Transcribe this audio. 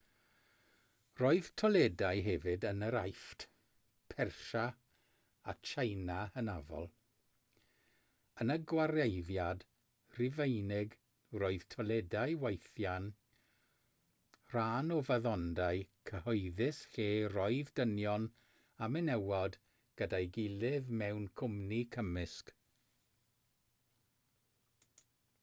roedd toiledau hefyd yn yr aifft persia a tsieina hynafol yn y gwareiddiad rhufeinig roedd toiledau weithiau'n rhan o faddondai cyhoeddus lle roedd dynion a menywod gyda'i gilydd mewn cwmni cymysg